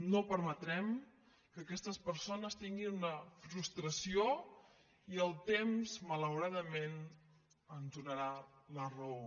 no permetrem que aquestes persones tinguin una frustració i el temps malauradament ens donarà la raó